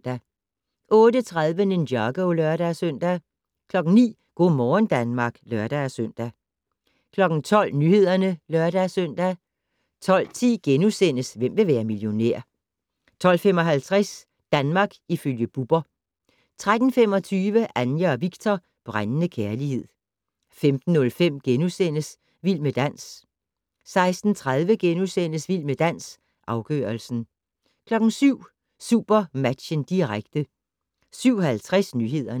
08:30: Ninjago (lør-søn) 09:00: Go' morgen Danmark (lør-søn) 12:00: Nyhederne (lør-søn) 12:10: Hvem vil være millionær? * 12:55: Danmark ifølge Bubber 13:25: Anja og Viktor - brændende kærlighed 15:05: Vild med dans * 16:30: Vild med dans - afgørelsen * 17:00: SuperMatchen, direkte 17:50: Nyhederne